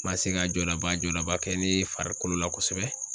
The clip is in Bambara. Ma se ka jɔlaba jɔdaba kɛ ne farikolo la kosɛbɛ